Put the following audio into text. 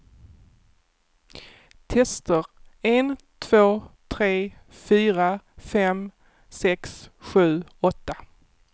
Testar en två tre fyra fem sex sju åtta.